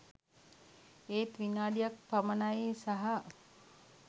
ඒත් "විනාඩියක් පමණයි" සහ